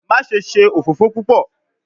Maṣe ṣe ofofo pupọ